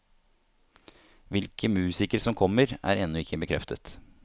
Hvilke musikere som kommer, er ennå ikke bekreftet.